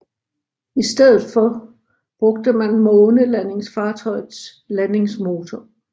I stedet for brugte man månelandingsfartøjets landingsmotor